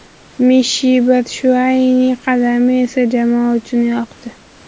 Mishi Batshuayining qadami esa jamoa uchun yoqdi.